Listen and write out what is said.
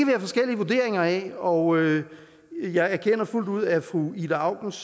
have forskellige vurderinger af og jeg anerkender fuldt ud at fru ida aukens